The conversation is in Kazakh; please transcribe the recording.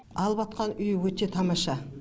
алыватқан үй өте тамаша